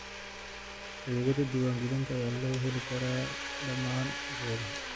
Adeegyada diiwaangelinta ayaa laga heli karaa dhammaan goobaha.